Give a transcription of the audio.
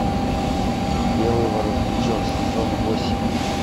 белый воротничок сезон восемь